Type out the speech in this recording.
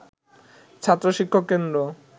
ছাত্র-শিক্ষক কেন্দ্র